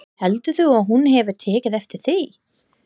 Heldurðu að hún hafi tekið eftir því?